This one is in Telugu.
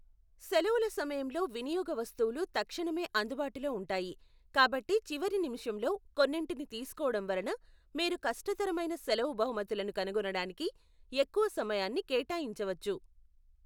సెలవుల సమయంలో వినియోగ వస్తువులు తక్షణమే అందుబాటులో ఉంటాయి, కాబట్టి చివరి నిమిషంలో కొన్నింటిని తీసుకోవడం వలన మీరు కష్టతరమైన సెలవు బహుమతులను కనుగొనడానికి ఎక్కువ సమయాన్ని కేటాయించవచ్చు.